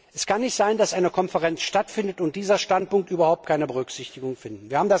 Es kann nicht sein, dass eine Konferenz stattfindet und dieser Standpunkt überhaupt keine Berücksichtigung findet.